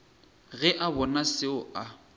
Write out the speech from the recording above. ge a bona seo a